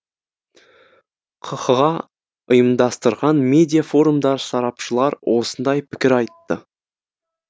қха ұйымдастырған медиа форумда сарапшылар осындай пікір айтты